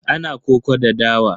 Ana koko da dawa.